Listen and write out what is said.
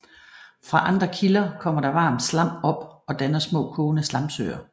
Fra andre kilder kommer der varmt slam op og danner små kogende slamsøer